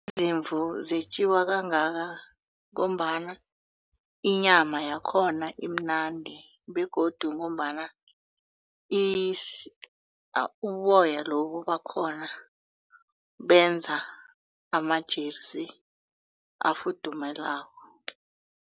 Izimvu zetjiwa kangaka ngombana inyama yakhona imnandi begodu ngombana uboya lobu bakhona benza amajeresi afuthumalako.